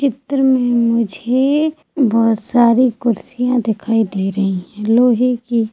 चित्र में मुझे बहोत सारी कुर्सियां दिखाई दे रही है लोहे की--